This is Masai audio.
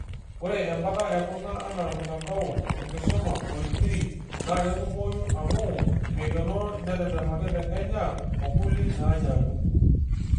Ore embata ekuna, anaa mtanadao enkisuma Kolibri, naa ketumoyu amu meikenoro netetemaki te Kenya, okuli naanyanyuk.